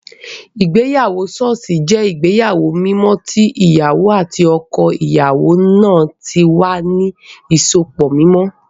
Ìgbéyàwó ṣọ́ọ̀ṣì jẹ́ ìgbéyàwó mímọ́ tí ìyàwó àti ọkọ ìyàwó náà tí wà ní ìsopọ̀ mímọ́